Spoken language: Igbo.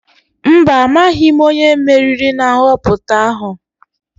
Mba, amaghị m onye meriri na nhọpụta ahụ.